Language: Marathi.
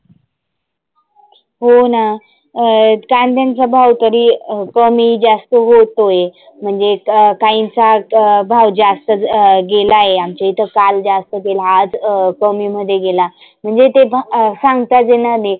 हो ना अं काद्यांचा भाव तरी कमी जास्त होतोय. म्हणजे काहिंचा भाव जास्त अं गेला आहे. काल जास्त गेला तर आज कमी मध्ये गेला. म्हणजे ते सांगताच येणार नाही.